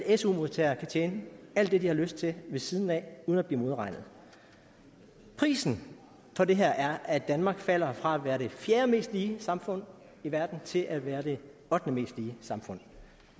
og su modtagere kan tjene alt det de har lyst til ved siden af uden at blive modregnet prisen for det her er at danmark falder fra være det fjerde mest lige samfund i verden til at være det ottende mest lige samfund